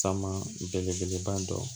Sama belebeleba dɔ